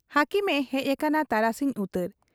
ᱦᱟᱹᱠᱤᱢᱮ ᱦᱮᱡ ᱟᱠᱟᱱᱟ ᱛᱟᱨᱟᱥᱤᱧ ᱩᱛᱟᱹᱨ ᱾